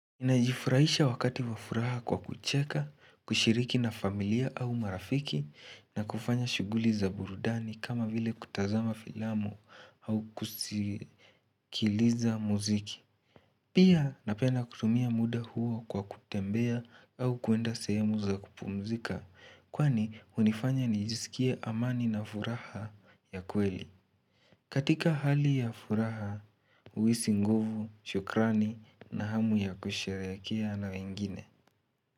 Najifurahisha wakati wa furaha kwa kucheka, kushiriki na familia au marafiki na kufanya shuguli za burudani kama vile kutazama filamu au kusikiliza muziki. Pia napenda kutumia muda huo kwa kutembea au kuenda sahemu za kupumzika kwani unifanya nijisikie amani na furaha ya kweli. Katika hali ya furaha, uhisi nguvu, shukrani na hamu ya kusherehekea na wengine.